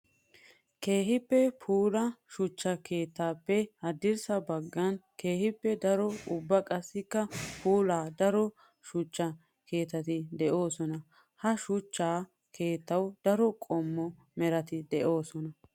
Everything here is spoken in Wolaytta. Keehippe puula shuchcha keettappe haddirssa bagan keehippe daro ubba qassikka puula daro shuchcha keettati de'osonna. Ha shuchcha keettawu daro qommo meratti de'osonna.